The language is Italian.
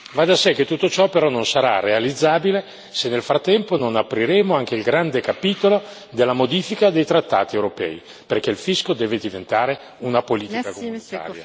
Va da sé che tutto ciò non sarà però realizzabile se nel frattempo non apriremo anche il grande capitolo della modifica dei trattati europei, perché il fisco deve diventare una politica dell'Unione.